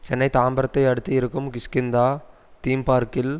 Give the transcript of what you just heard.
சென்னை தாம்பரத்தை அடுத்து இருக்கும் கிஷ்கிந்தா தீம் பார்க்கில்